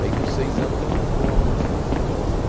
Aí com seis anos ele compõe uma música que entra num